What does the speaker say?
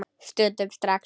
Stundum strax.